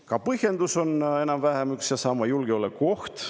Ka põhjendus on enam-vähem üks ja sama: julgeolekuoht.